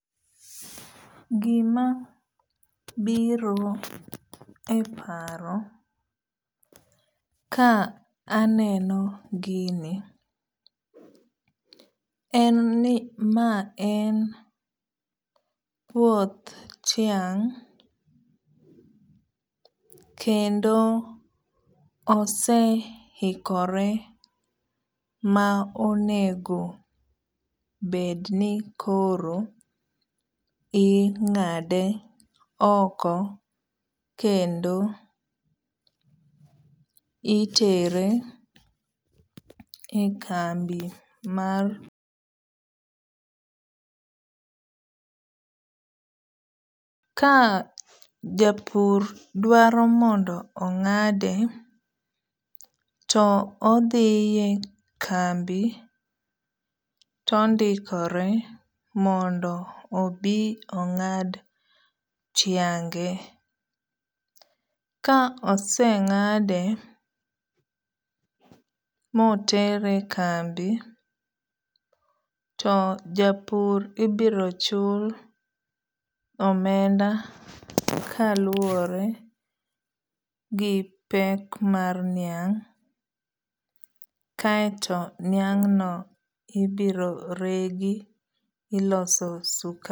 Gima biro e paro ka aneno gini en ni ma en puoth tiang' kendo ose hikore ma onego bed ni koro ing'ade oko kendo itere e kambi mar. Ka japur dwaro mondo ong'ade to odhiye kambi to ondikore mondo obi ong'ad tiange. Ka oseng'ade motere kambi to japur ibiro chul omenda kaluwore gi pek mar niang' aeto niang' no ibiro regi iloso.